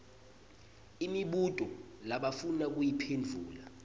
imibuto labafuna kuyiphendvula